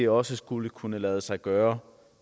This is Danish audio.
også skulle kunne lade sig gøre